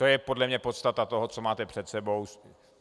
To je podle mě podstata toho, co máte před sebou.